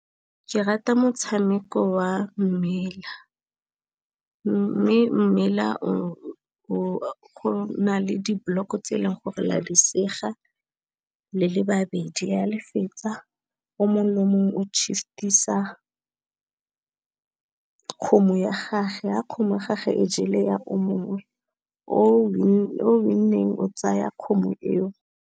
Ke rata motshameko wa mmela, mme mmela go na le diblock-o tse e leng gore la di sega, le le babedi, ha le fetsa o mongwe le mongwe o shift-isa kgomo ya gage, ha kgomo gage e jele ya o mongwe, o win-eng o tsaya kgomo eo.